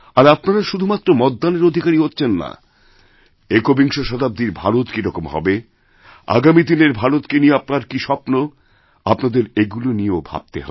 আর আপনারাশুধুমাত্র মতদানের অধিকারীই হচ্ছেন না একবিংশ শতাব্দীর ভারত কীরকম হবে আগামীদিনের ভারতকে নিয়ে আপনার কী স্বপ্ন আপনাদের এগুলি নিয়েও ভাবতে হবে